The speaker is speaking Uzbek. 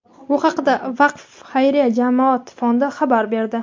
Bu haqda "Vaqf" xayriya jamoat fondi xabar berdi.